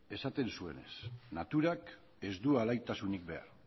esaten zuenez naturak ez du alaitasunik behar